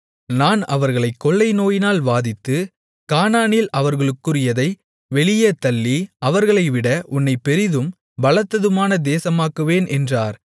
நான் அவர்களைக் கொள்ளைநோயினால் வாதித்து கானானில் அவர்களுக்குரியதை வெளியே தள்ளி அவர்களைவிட உன்னைப் பெரிதும் பலத்ததுமான தேசமாக்குவேன் என்றார்